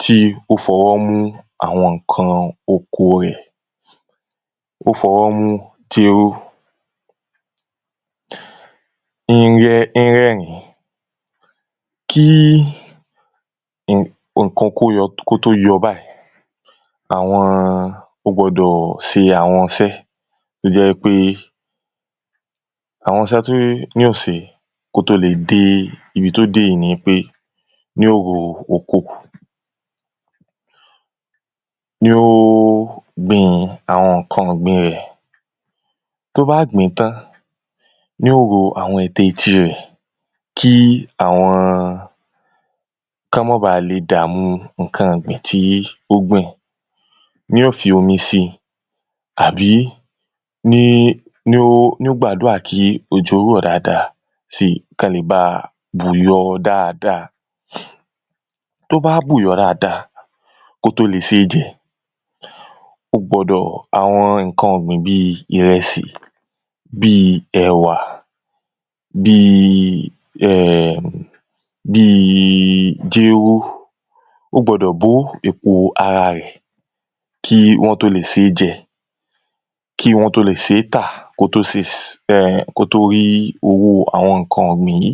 tí ó fọ̄wọ́ mú àwọ̄n nǹkan oko rẹ̀. Ó fọ̄wọ́ mú tiró ń rẹ́ ń rẹ́rìn kí n ǹkān tó yọ̄ kó tó yọ̄ báyìí àwọ̄n ó gbọ̄dọ̀ ṣē àwọ̄n īṣẹ́ tó jẹ́ wípé àwọ̄n iṣẹ́ tí yóò sē kó tó dé ībī tó dé yìí nīpé yóò ro oko. Yóò gbīn àwọ̄n n̄ǹkān ọ̀gbīn rẹ̀ tó bá gbìn tán yó ro gbogbo àwọ̄n etetí rẹ̀ kí àwọ̄n kán má ba e dàámú àwọ̄n n̄ǹkān ọ̀gbìn tí ó gbìn. Yó fi omi sí àbí ní ó ní ó gbàdúà kí òjò kí ó rọ̀ dáada sí kán le bá bù yọ̄ dáada. Tó bá bù yọ̄ dáada kó tó le ṣé jẹ̄ ó gbọ̄dọ̀ àwọ̄n nǹkan ọ̀gbìn bí ìrèsì bí ẹ̀wá bí um bí jéró ó gbọ̄dọ̀ bó èpo ara rẹ̀ kí wọ́n tó le sé jẹ́ kí wọ́n tó le ṣé tà ka tó se um kó tó rí ōwó àwọ̄n nǹkān ọ̀gbìn yìí.